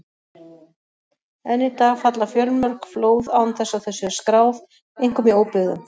Enn í dag falla fjölmörg flóð án þess að þau séu skráð, einkum í óbyggðum.